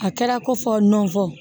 A kɛra ko fɔ nɔnfɔ